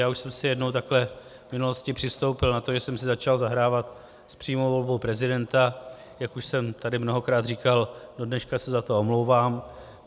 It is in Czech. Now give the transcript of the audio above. Já už jsem si jednou takhle v minulosti přistoupil na to, že jsem si začal zahrávat s přímou volbou prezidenta, jak už jsem tady mnohokrát říkal, do dneška se za to omlouvám.